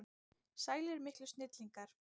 Sælir miklu snillingar!